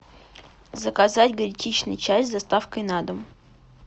заказать гречишный чай с доставкой на дом